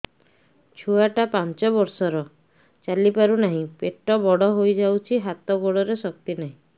ଛୁଆଟା ପାଞ୍ଚ ବର୍ଷର ଚାଲି ପାରୁ ନାହି ପେଟ ବଡ଼ ହୋଇ ଯାଇଛି ହାତ ଗୋଡ଼ରେ ଶକ୍ତି ନାହିଁ